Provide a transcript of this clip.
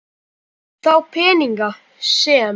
Þá peninga sem